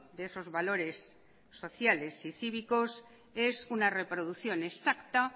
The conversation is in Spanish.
de esos valores sociales y cívicos es una reproducción exacta